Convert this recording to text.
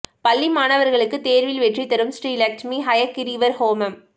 பள்ளி மாணவர்களுக்கு தேர்வில் வெற்றி தரும் ஸ்ரீ லட்சுமி ஹயக்கிரீவர் ஹோமம்